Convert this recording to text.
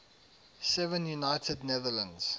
seven united netherlands